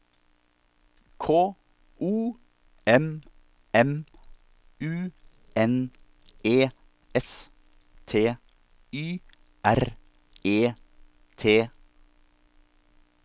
K O M M U N E S T Y R E T